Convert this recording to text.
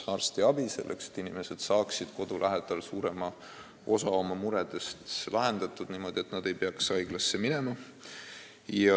On hea, kui inimesed saavad kodu lähedal suurema osa oma muredest lahendatud niimoodi, et nad ei pea haiglasse minema.